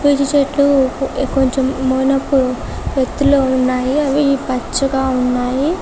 చెట్లు కొంచెం మనకు ఎత్తులో ఉన్నాయి అవి పచ్చగా ఉన్నాయి --